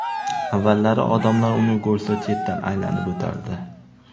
Avvallari odamlar uni ko‘rsa chetdan aylanib o‘tardi.